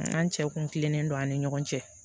An cɛw kun kilennen don an ni ɲɔgɔn cɛ